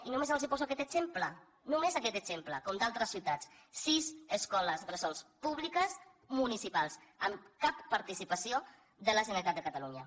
i només els poso aquest exemple només aquest exemple com d’altres ciutats sis escoles bressol públiques municipals amb cap participació de la generalitat de catalunya